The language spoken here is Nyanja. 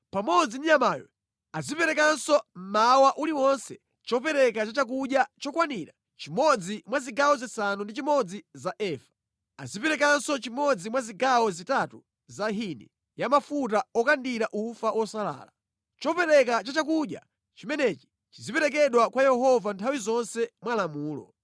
Pamodzi ndi nyamayo aziperekanso mmawa uliwonse chopereka cha chakudya chokwanira chimodzi mwa zigawo zisanu ndi chimodzi za efa. Aziperekanso chimodzi mwa zigawo zitatu za hini ya mafuta okandira ufa wosalala. Chopereka cha chakudya chimenechi chiziperekedwa kwa Yehova nthawi zonse mwa lamulo.